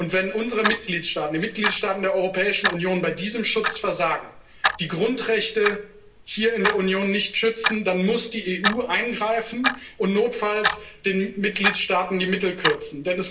Wenn unsere Mitgliedstaaten, die Mitgliedstaaten der Europäischen Union, bei diesem Schutz versagen, die Grundrechte hier in der Union nicht schützen, dann muss die EU eingreifen und notfalls den Mitgliedstaaten die Mittel kürzen.